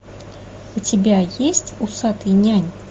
у тебя есть усатый нянь